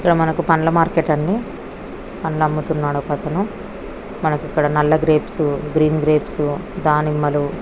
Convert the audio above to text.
ఇక్కడ మనకు పండ్ల మార్కెట్ అండి. పండ్లు అమ్ముతున్నాడు ఒక అతను మనకి ఇక్కడ నల్ల గ్రేప్స్ గ్రీన్ గ్రేప్స్ దానిమ్మలు --